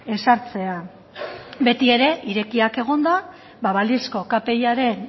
ezartzea beti ere irekiak egonda balizko kpiaren